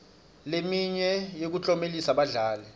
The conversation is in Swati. leminye yekuklomelisa badlali